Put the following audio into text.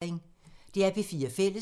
DR P4 Fælles